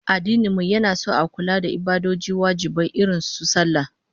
Addinin mu yana son a kula da ibadoji wajibai irin su sallah